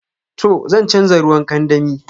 To, zan chanza ruwan kandami.